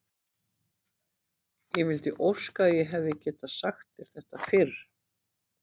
Ég vildi óska að ég hefði getað sagt þér þetta fyrr.